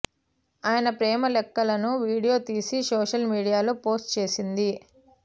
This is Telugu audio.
ఆయన ప్రేమ లెక్కలను వీడియో తీసి సోషల్ మీడియాలో పోస్టు చేసింది